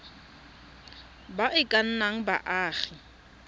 ba e ka nnang baagi